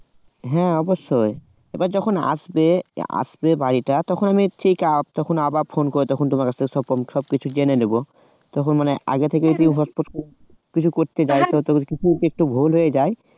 হ্যাঁ অবশ্যই এবার যখন আসবে আসবে বাড়িটা তখন আমি ঠিক আবার ফোন করে তখন তোমার কাছ থেকে সব সবকিছু জেনে নেব আগে থেকেই তুই হটপট কিছু করতে যাস না তখন যদি কিছু ভুল হয়ে যায়